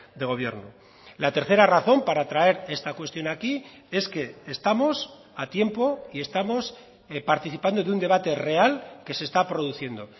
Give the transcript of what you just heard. de gobierno la tercera razón para traer esta cuestión aquí es que estamos a tiempo y estamos participando de un debate real que se está produciendo